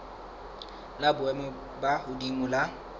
la boemo bo hodimo la